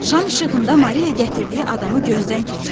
Şam işığında Maria gətirdiyi adamı gözdən keçirdi.